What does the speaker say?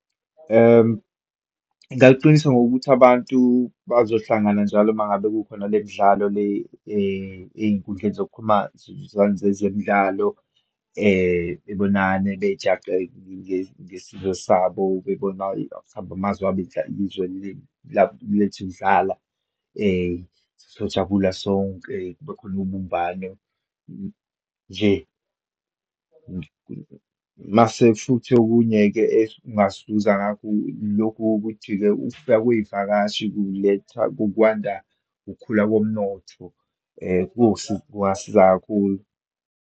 Ngingaluqinisa ngokuthi abantu bazohlangana njalo uma ngabe kukhona le midlalo le eyinkundleni zokuxhumana zemidlalo, bebonane, bejaqekile ngesizwe sabo, bebona ukuba mhlambe amazwe abedlala izwe lethu lidlala, sojabula sonke, kubekhona ubumbano nje. Uma sefuthi okunye-ke siza ngakho, lokhu kokuthi-ke, ukufika kweyivakashi kuletha kukwanda, ukukhula komnotho kungasiza kakhulu.